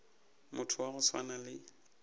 motho wa go swana le